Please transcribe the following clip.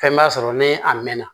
Fɛn b'a sɔrɔ ni a mɛnna